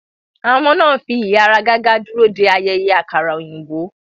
Àwọn ọmọ náà ń fi ìháragàgà dúró de ayẹyẹ àkàrà òyìnbó.